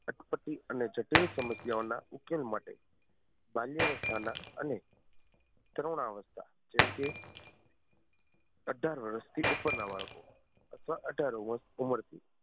અટપટી અને જટિલ સમસ્યાઓ ના ઉકેલ માટે બાલ્ય અવસ્થા ના અને તરુણ અવસ્થા જેમ કે અઢાર વર્ષ થી ઉપર ના બાળકો અથવા અઢાર વર્ષ ઉંમર થી